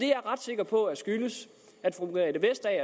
jeg ret sikker på skyldes